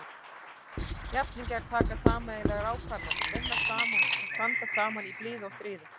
Jafningjar taka sameiginlegar ákvarðanir, vinna saman og standa saman í blíðu og stríðu.